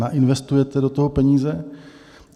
Nainvestujete do toho peníze?